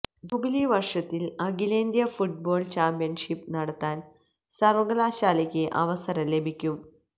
jubilee വര്ഷത്തില് അഖിലേന്ത്യാ football championship നടത്താന് സര്വകലാശാലക്ക് അവസരം ലഭിക്കും